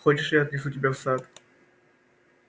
хочешь я отнесу тебя в сад